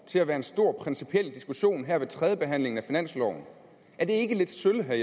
til at være en stor principiel diskussion her ved tredjebehandlingen af finansloven er det ikke lidt